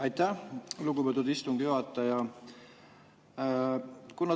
Aitäh, lugupeetud istungi juhataja!